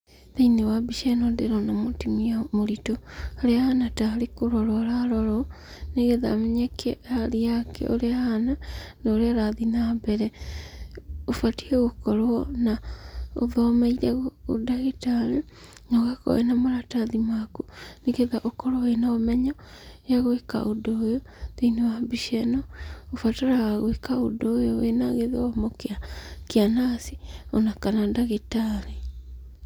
Thĩinĩ wa mbica ĩno ndĩrona mũtumia mũritũ, harĩa ahana tarĩ kũrorwo ararorwo, nĩgetha amenyeke hali yake ũrĩa ĩhana, na ũrĩa ĩrathiĩ na mbere. Ũbatie gũkorwo na ũthomeire ũndagĩtarĩ nogakorwo wĩna maratathi maku, nĩgetha ũkorwo wĩna ũmenyo ya gwĩka ũndũ ũyũ thĩinĩ wa mbica ĩno, ũbataraga gwĩka ũndũ ũyũ wĩna gĩthomo kĩa, kĩa nurse ona kana ndagĩtarĩ.